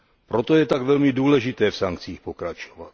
Proto je tak velmi důležité v sankcích pokračovat.